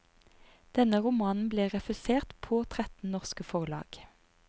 Denne romanen ble refusert på tretten norske forlag.